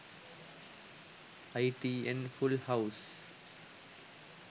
itn full house